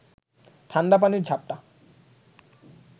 ঠাণ্ডা পানির ঝাপটা